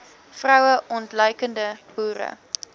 vroue ontluikende boere